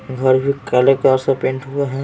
घर भी काले कलर से पेंट हुआ है।